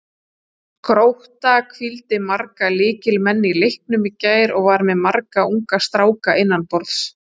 Grótta hvíldi marga lykilmenn í leiknum í gær og var með marga unga stráka innanborðs.